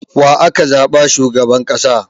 Wa aka zaɓa shugaban ƙasa?